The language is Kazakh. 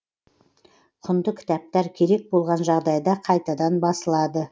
құнды кітаптар керек болған жағдайда қайтадан басылады